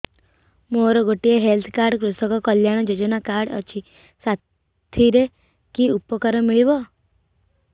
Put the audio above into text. ମୋର ଗୋଟିଏ health card କୃଷକ କଲ୍ୟାଣ ଯୋଜନା କାର୍ଡ ଅଛି ସାଥିରେ କି ଉପକାର ମିଳିବ